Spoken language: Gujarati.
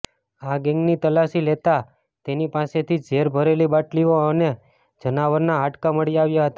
આ ગેંગની તલાશી લેતાં તેની પાસેથી ઝેર ભરેલી બાટલીઓ અને જનાવરનાં હાડકાં મળી આવ્યાં હતાં